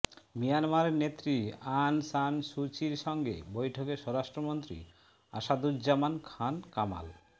মিয়ানমারের নেত্রী Aung San Suu চির সঙ্গে বৈঠকে স্বরাষ্ট্রমন্ত্রী আসাদুজ্জামান খাঁন কামাল